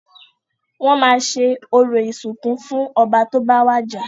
Wọ́n máa ṣe orò ìsìnkú fún ọba tó bá wàjà.